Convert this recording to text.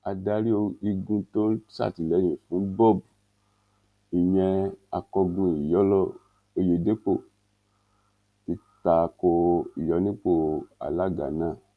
adarí igun tó ń sàtìlẹyìn fún bob ìyẹn akọgun iyọlọ ọyẹdẹpọ ti ta ko ìyọnipọ alága náà